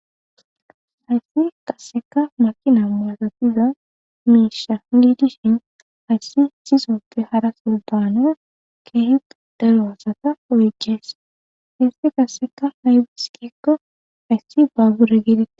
Hayssi qasseka makina maasatiza miisha liidishin hayssi sisoppe hara soldana keehequ deloosaka oygees hissi qasseka haybiskeekko hayssi baabure giide